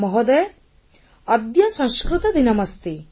ମହୋଦୟ ଅଦ୍ୟ ସଂସ୍କୃତ ଦିନମସ୍ତି